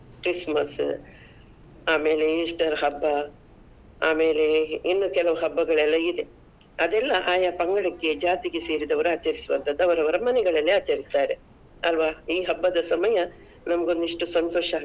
Christmas , ಆಮೇಲೆ Easter ಹಬ್ಬ, ಆಮೇಲೆ ಇನ್ನು ಕೆಲವ್ ಹಬ್ಬಗಳೆಲ್ಲ ಇದೆ, ಅದೆಲ್ಲ ಆಯಾ ಪಂಗಡಕ್ಕೆ ಜಾತಿಗೆ ಸೇರಿದವರು ಆಚರಿಸುವಂತದ್ದು ಅವರವರ ಮನೆಗಳಲ್ಲಿ ಆಚರಿಸ್ತಾರೆ, ಅಲ್ವಾ ಈ ಹಬ್ಬದ ಸಮಯ ನಮ್ಗೊಂದಿಷ್ಟೂ ಸಂತೋಷ.